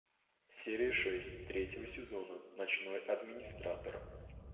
серия шесть третьего сезона ночной администратор